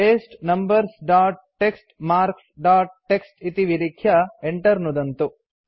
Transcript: paste numbers dot TXT marks dot TXT इति विलिख्य enter नुदन्तु